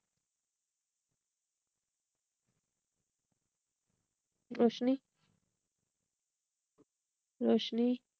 रोशनी रोशनी